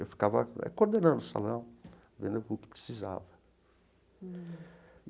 Eu ficava coordenando o salão, vendo o que precisava.